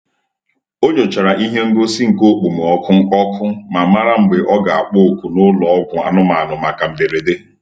O nyochara ihe ngosi nke okpomọkụ ọkụ ma mara mgbe ọ ga-akpọ oku n'ụlọ ọgwụ anụmanụ maka mberede.